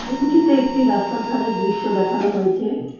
ছবিটিতে একটি রাস্তার ধারের দৃশ্য দেখানো হয়েছে।